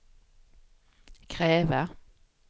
kräva